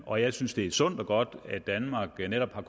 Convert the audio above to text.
og jeg synes det er sundt og godt at danmark netop har